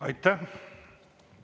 Aitäh!